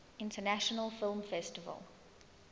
international film festival